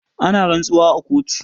Ana rantsuwa a kotu.